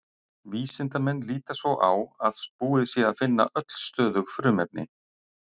Vísindamenn líta svo á að búið sé að finna öll stöðug frumefni.